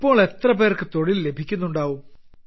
ഇപ്പോൾ എത്ര പേർക്ക് തൊഴിൽ ലഭിക്കുന്നുണ്ടാവും